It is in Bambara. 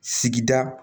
Sigida